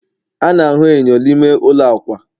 a na-ahụ enyo n'ime ụlọ akwa